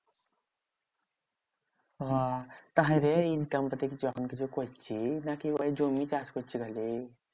হ্যাঁ তাহলে income টা তুই যখন খুশি করছিস নাকি ওরাই জমি চাষ করছে ভালোই?